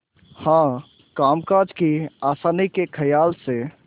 हाँ कामकाज की आसानी के खयाल से